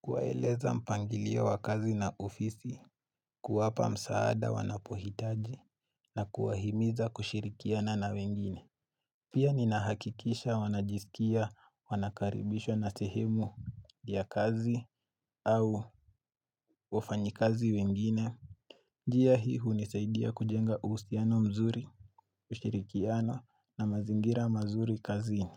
kuwaeleza mpangilio wa kazi na ofisi kuwapa msaada wanapohitaji na kuwahimiza kushirikiana na wengine Pia ninahakikisha wanajisikia wanakaribishwa na sehemu ya kazi au wafanyi kazi wengine njia hii hunisaidia kujenga uhusiano mzuri, kushirikiana na mazingira mazuri kazini.